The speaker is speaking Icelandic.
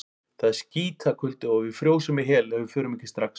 Það er skítakuldi og við frjósum í hel ef við förum ekki strax.